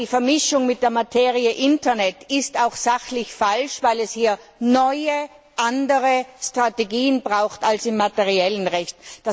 Aber die Vermischung mit der Materie Internet ist auch sachlich falsch, weil es hier neuer anderer Strategien bedarf als im materiellen Recht.